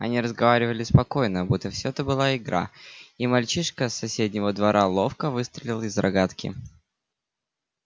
они разговаривали спокойно будто всё это была игра и мальчишка с соседнего двора ловко выстрелил из рогатки